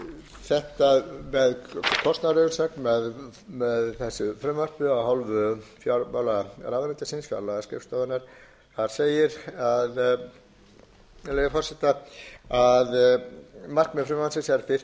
þetta með kostnaðarumsögn með þessu frumvarpi af hálfu fjármálaráðuneytisins fjárlagaskrifstofunnar þar segir með leyfi forseta markmið frumvarpsins er fyrst og fremst a auðvelda